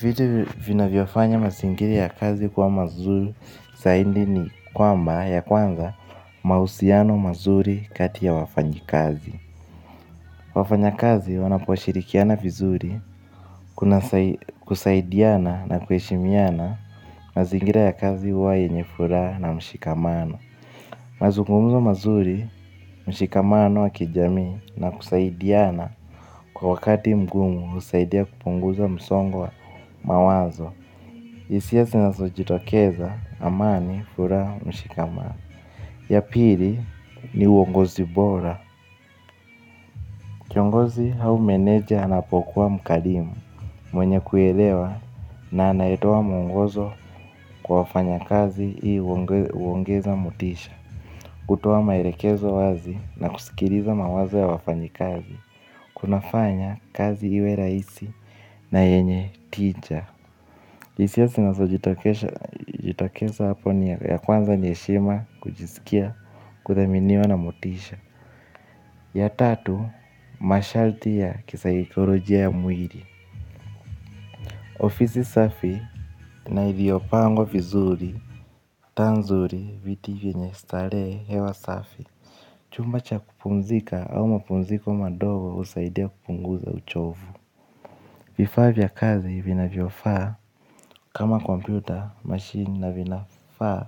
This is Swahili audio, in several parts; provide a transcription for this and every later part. Vitu vinavyofanya mazingira ya kazi kuwa mazuri zaidi ni kwamba ya kwanza mahusiano mazuri kati ya wafanyi kazi. Wafanyakazi wanaposhirikiana vizuri kuna kusaidiana na kueshimiana mazingira ya kazi huwa yenye furaha na mshikamano. Mazungumzo mazuri, mshikamano wa kijamii na kusaidiana kwa wakati mgumu husaidia kupunguza msongi wa mawazo. Hisia zinazojitokeza amani furaha mshikamano. Ya pili ni uongozi bora. Kiongozi au meneja anapokuwa mkarimu mwenye kuelewa na anayetoa mungozo kwa wafanyakazi hii uongeza motisha. Kutoa maelekezo wazi na kusikiliza mawazo ya wafanyikazi. Kunafanya kazi iwe rahisi na yenye tija. Hisia zinazojitikeza hapo ni ya kwanza ni heshima kujisikia kudhaminiwa na motisha. Ya tatu, masharti ya kisaekolojia mwili. Ofisi safi na iliyopangwa vizuri, taa nzuri, viti vyenye starehe hewa safi chumba cha kupumzika au mapumziko madogo husaidia kupunguza uchovu vifaa vya kazi vinavyofaa kama kompyuta mashini na vinafaa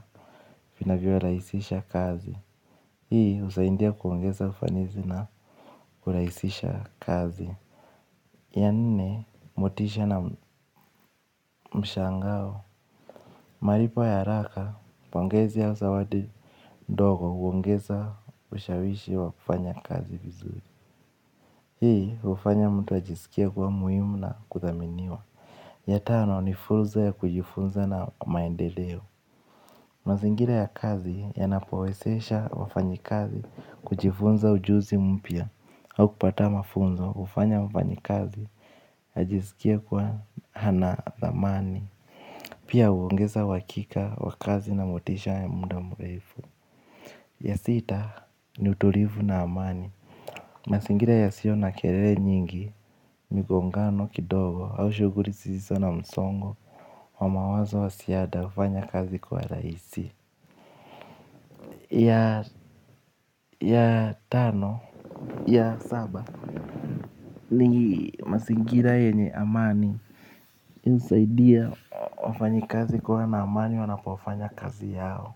vinavyorahisisha kazi. Hii usahidia kuongeza ufanisi na uraisisha kazi ya nne motisha na mshangao. Malipo ya haraka pongezi au zawadi ndogo huongeza ushawishi wa kufanya kazi vizuri. Hii ufanya mtu ajisikie kuwa muhimu na kudhaminiwa. Ya tano ni funzo ya kujifunza na maendeleo. Mazingira ya kazi yanapowezesha wafanyikazi kujifunza ujuzi mpya au kupata mafunzo hufanya mfanyikazi ajiskie kuwa hana dhamani. Pia uongeza uhakika wa kazi na motisha wa muda mrefu. Ya sita ni utulivu na amani. Mazingira yasiyo na kelele nyingi. Migongano kidogo au shuguli zisizo na msongo wa mawazo wa ziada hufanya kazi kwa rahisi. Ya tano ya saba ni mazingira yenye amani inisaidia wafanyikazi kuwa na amani wanapofanya kazi yao.